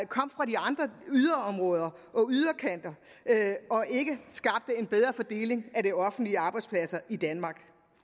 kom fra de andre yderområder og yderkanter og ikke skabte en bedre fordeling af de offentlige arbejdspladser i danmark